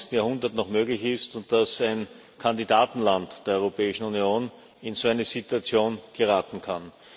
21. Jahrhundert noch möglich ist und dass ein Kandidatenland der Europäischen Union in so eine Situation geraten kann.